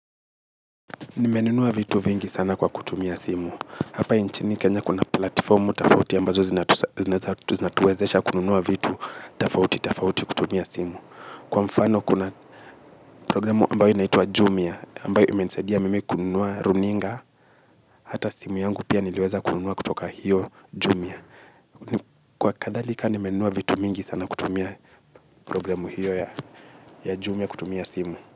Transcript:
Nimenuwa vitu vingi sana kwa kutumia simu. Hapai nchini kenya kuna platformu tafauti ambazo zinatuwezesha kununua vitu tafauti tafauti kutumia simu. Kwa mfano kuna programu ambayo inaitwa Jumia ambayo ime nisaidia mimi kununua runinga hata simu yangu pia niliweza kununua kutoka hiyo Jumia. Kwa kathalika nimenuwa vitu mingi sana kutumia programu hiyo ya Jumia kutumia simu.